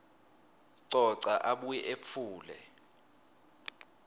coca abuye etfule